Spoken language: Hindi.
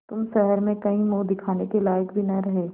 तुम शहर में कहीं मुँह दिखाने के लायक भी न रहे